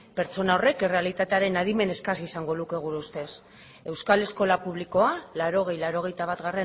pertsona horrek errealitatearen adimen eskas izango luke gure ustez euskal eskola publikoa laurogei laurogeita bat